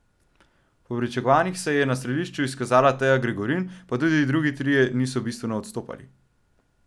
Po pričakovanjih se je na strelišču izkazala Teja Gregorin, pa tudi drugi trije niso bistveno odstopali.